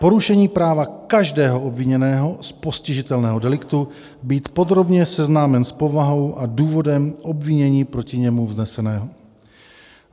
Porušení práva každého obviněného z postižitelného deliktu být podrobně seznámen s povahou a důvodem obvinění proti němu vznesenému.